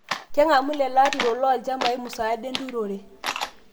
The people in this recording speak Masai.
Keng'amu lelo lelo aturok loolchambai musaada enturore